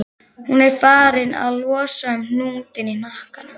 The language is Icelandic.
Hún er farin að losa um hnútinn í hnakkanum.